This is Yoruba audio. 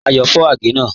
Ayọ́ fọ̀ àgẹ̀ náà.